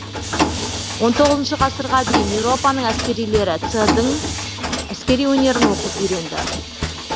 он тоғызыншы ғасырға дейін еуропаның әскерилері ц дың әскери өнерін оқып үйренді